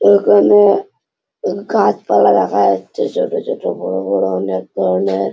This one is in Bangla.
এখানে গাছপালা দেখা যাচ্ছে ছোট ছোট বড় বড় অনেক ধরনের।